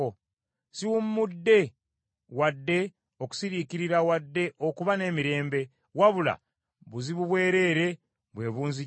Siwummudde wadde okusiriikirira wadde okuba n’emirembe, wabula buzibu bwereere bwe bunzijidde.”